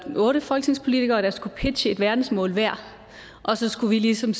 otte folketingspolitikere der skulle pitche et verdensmål hver og så skulle vi ligesom